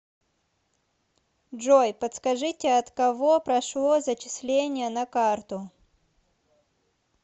джой подскажите от кого прошло зачисление на карту